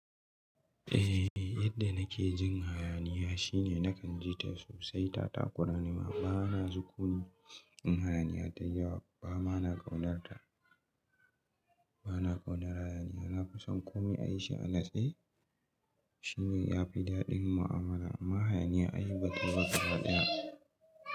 Eh yadda nake jin hayaniya shine nakan ji ta sosai. Ta ƙuranima bana sukuni in hayaniya ta yawa, bama na kaunar ta bana kaumar hayaniya. Na fi son koma a yi shi an lashe, shine yafi daɗin mu'amala ma hayaniya ai baki wata faɗa.